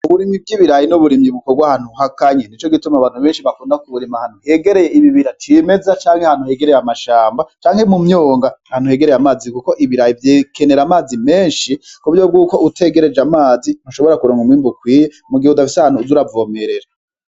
Uburimyi bwibirayi bukorwa ahantu hakanye nico gituma abantu bakunda kubirima ahantu hegereye ibibira cimeza canke ahantu hegereye amashamba, mu myongo ahantu hegereye amazi kuko ikiraya gikenera amazi menshi kuburyo bwuko utayavyegereje utoronka umwimbu ukwiye mu gihe udafise ahantu uza uravomerera.